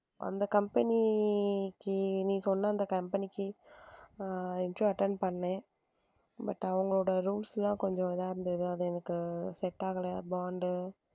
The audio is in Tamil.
அந்த company க்கு நீ சொன்ன அந்த company க்கு ஆஹ் interview attend பண்ணேன் but அவங்களோட rules எல்லாம் கொஞ்சம் இதா இருந்தது, அது எனக்கு set ஆகல bond உ